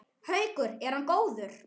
Haukur: Er hann góður?